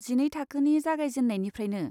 जिनै थाखोनि जागायजेन्नायनिफ्रायनो।